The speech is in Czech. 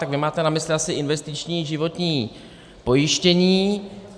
Tak vy máte na mysli asi investiční životní pojištění.